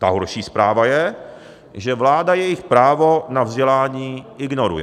Ta horší zpráva je, že vláda jejich právo na vzdělání ignoruje.